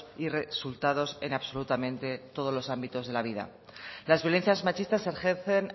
y resultados en absolutamente todos los ámbitos de la vida las violencias machistas se ejercen